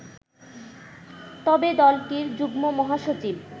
তবে দলটির যুগ্ম মহাসচিব